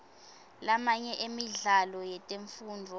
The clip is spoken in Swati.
lamanye emidlalo yetemfundvo